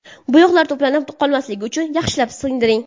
Bo‘yoq to‘planib qolmasligi uchun yaxshilab singdiring.